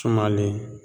Sumalen